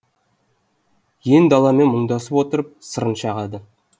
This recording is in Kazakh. ен даламен мұңдасып отырып сырын шағады